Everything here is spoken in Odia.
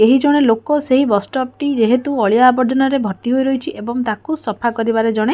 ଏହିଜଣେ ଲୋକ ସେହି ବସ ଷ୍ଟପ୍ ଟି ଯେହେତୁ ଅଳିଆ ଆବର୍ଜନାରେ ଭର୍ତ୍ତି ହୋଇ ରହିଚି ଏବଂ ତାକୁ ସଫା କରିବାରେ ଜଣେ--